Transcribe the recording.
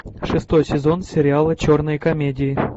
шестой сезон сериала черные комедии